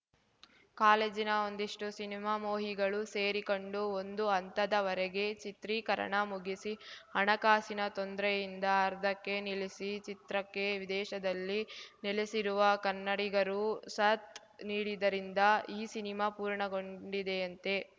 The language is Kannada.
ಕಾಲೇಜಿನ ಒಂದಿಷ್ಟು ಸಿನಿಮಾಮೋಹಿಗಳು ಸೇರಿಕೊಂಡು ಒಂದು ಹಂತದ ವರಗೆ ಚಿತ್ರೀಕರಣ ಮುಗಿಸಿ ಹಣಕಾಸಿನ ತೊಂದ್ರೆಯಿಂದ ಅರ್ಧಕ್ಕೆ ನಿಲ್ಲಿಸಿದ ಚಿತ್ರಕ್ಕೆ ವಿದೇಶದಲ್ಲಿ ನೆಲೆಸಿರುವ ಕನ್ನಡಿಗರು ಸಾಥ್‌ ನೀಡಿದ್ದರಿಂದ ಈ ಸಿನಿಮಾ ಪೂರ್ಣಗೊಂಡಿದೆಯಂತೆ